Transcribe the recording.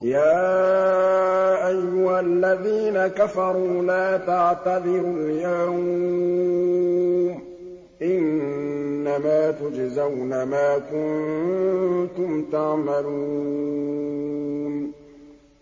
يَا أَيُّهَا الَّذِينَ كَفَرُوا لَا تَعْتَذِرُوا الْيَوْمَ ۖ إِنَّمَا تُجْزَوْنَ مَا كُنتُمْ تَعْمَلُونَ